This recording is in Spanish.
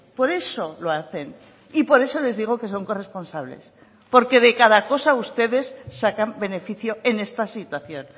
por eso lo hacen y por eso les digo que son corresponsables porque de cada cosa ustedes sacan beneficio en esta situación